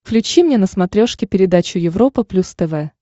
включи мне на смотрешке передачу европа плюс тв